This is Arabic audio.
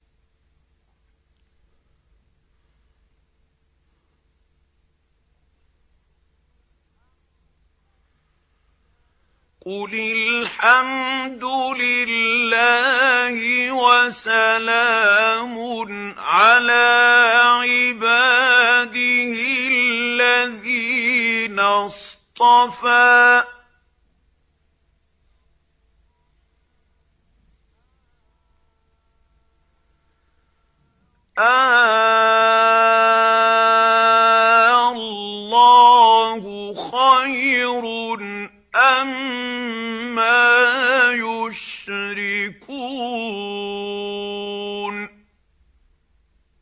قُلِ الْحَمْدُ لِلَّهِ وَسَلَامٌ عَلَىٰ عِبَادِهِ الَّذِينَ اصْطَفَىٰ ۗ آللَّهُ خَيْرٌ أَمَّا يُشْرِكُونَ